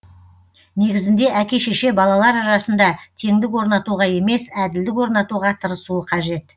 негізінде әке шеше балалар арасында теңдік орнатуға емес әділдік орнатуға тырысуы қажет